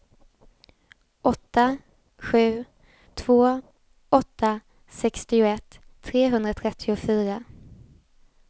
åtta sju två åtta sextioett trehundratrettiofyra